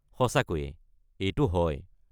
সঁচাকৈয়ে, এইটো হয়।